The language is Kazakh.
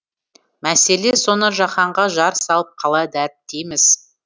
мәселе соны жаһанға жар салып қалай дәріптейміз